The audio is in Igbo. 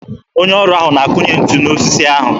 Onye ọrụ ahụ na-akụnye ntu n'osisi ahụ.